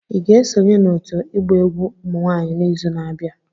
Ị ga-esonye n'òtù ịgba egwu ụmụ nwanyị n'izu na-abịa